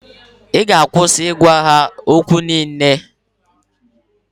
ị ga-akwụsị ịgwa ha okwu n'ilu?